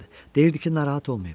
Deyirdi ki, narahat olmayın.